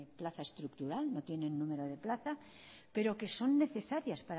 plaza estructural no tienen número de plaza pero que son necesarias